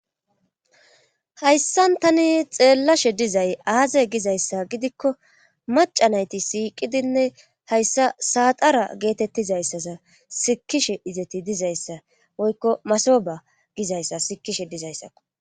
hayssan tani xeellashe dizay aaze gizayssa gidikko macanayti siiqidinne hayssa saaxara geetettizayssaza sikishe izeti dizayssa woykko masoba gizayssa sikishe dizayssao